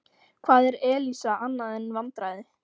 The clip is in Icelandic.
Hvað er Elísa annað en vandræði?